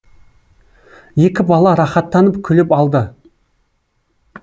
екі бала рахаттанып күліп алды